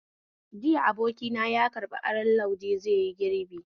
Jiya abokina yaƙarɓi aron lauje zaiyi girbi